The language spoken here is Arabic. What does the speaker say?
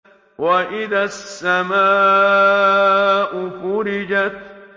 وَإِذَا السَّمَاءُ فُرِجَتْ